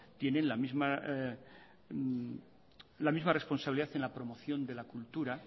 tienen la misma responsabilidad en la promoción de la cultura